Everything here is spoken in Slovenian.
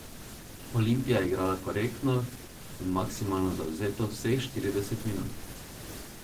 Olimpija je igrala korektno in maksimalno zavzeto vseh štirideset minut.